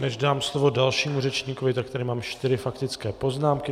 Než dám slovo dalšímu řečníkovi, tak tady mám čtyři faktické poznámky.